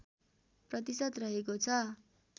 प्रतिशत रहेको छ